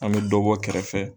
An bɛ dɔ bɔ kɛrɛfɛ.